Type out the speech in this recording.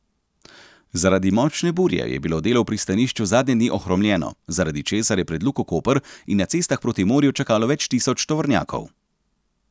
Zaradi močne burje je bilo delo v pristanišču zadnje dni ohromljeno, zaradi česar je pred Luko Koper in na cestah proti morju čakalo več tisoč tovornjakov.